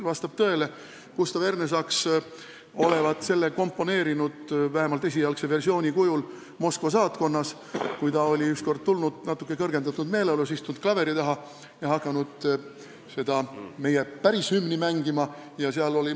Vastab tõele, et Gustav Ernesaks olevat vähemalt selle esialgse versiooni komponeerinud Moskva saatkonnas, kuhu ta olevat ükskord jõudnud natuke kõrgendatud meeleolus, istunud klaveri taha ja hakanud meie päris hümni mängima.